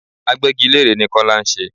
Agbégilére ni Kọ́lá ń ṣe.